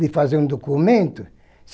De fazer um documento?